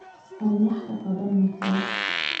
Aan wax ka qabanno taas